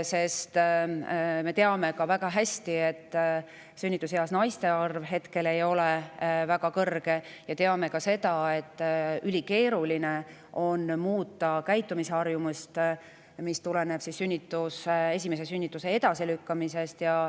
Sest me teame väga hästi, et sünnituseas naiste arv ei ole praegu väga kõrge, ja teame ka seda, et ülikeeruline on muuta käitumisharjumusi, mis tulenevad esimese sünnituse edasilükkamisest.